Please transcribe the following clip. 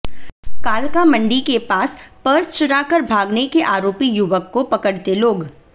कालका मंडी के पास पर्स चुराकर भागने के आरोपी युवक को पकड़ते लोग